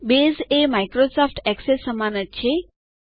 base એ Microsoft Access ને સમાન જ છે